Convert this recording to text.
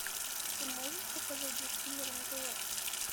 ты можешь показать детский мир на тв